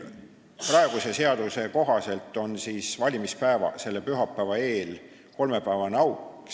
Praeguse seaduse kohaselt on valimispäeva, selle pühapäeva eel kolmepäevane auk.